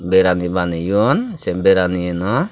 berani baneyon se berani yeno.